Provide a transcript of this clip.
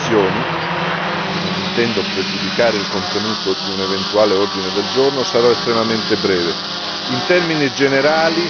Alla luce di queste considerazioni, e non intendo pregiudicare il contenuto di un eventuale ordine del giorno, sarò estremamente breve.